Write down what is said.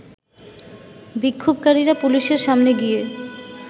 বিক্ষোভকারীরা পুলিশের সামনে গিয়ে